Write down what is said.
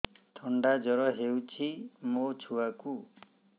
ଥଣ୍ଡା ଜର ହେଇଚି ମୋ ଛୁଆକୁ